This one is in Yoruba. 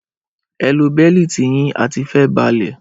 Ẹ lo bẹ́lítì yín a ti fẹ́ balẹ̀!